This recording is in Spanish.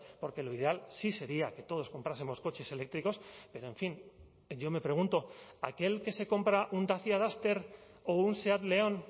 porque lo ideal sí sería que todos comprásemos coches eléctricos pero en fin yo me pregunto aquel que se compra un dacia duster o un seat león